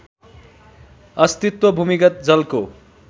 अस्तित्व भूमिगत जलको